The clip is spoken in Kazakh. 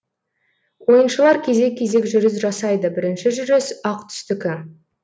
ойыншылар кезек кезек жүріс жасайды бірінші жүріс ақ түстікі